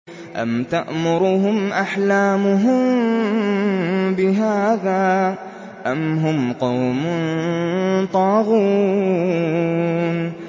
أَمْ تَأْمُرُهُمْ أَحْلَامُهُم بِهَٰذَا ۚ أَمْ هُمْ قَوْمٌ طَاغُونَ